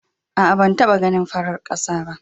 Aa, ban taba ganin farar kasa ba.